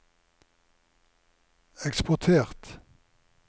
eksportert